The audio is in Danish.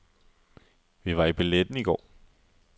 Vi var i balletten i går.